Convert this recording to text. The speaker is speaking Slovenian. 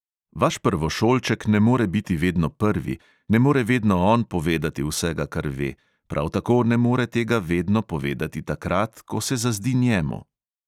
Vaš prvošolček ne more biti vedno prvi, ne more vedno on povedati vsega, kar ve, prav tako ne more tega vedno povedati takrat, ko se zazdi njemu.